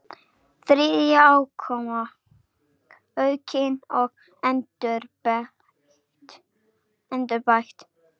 Þriðja útgáfa aukin og endurbætt.